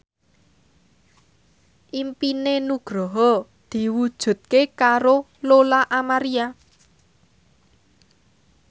impine Nugroho diwujudke karo Lola Amaria